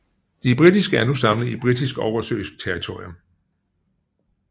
De britiske er nu samlet i Britisk oversøisk territorium